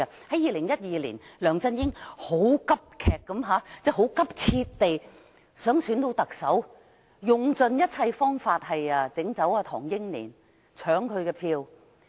在2012年，梁振英很急切地想當選特首，用盡一切方法弄走唐英年，搶他的票。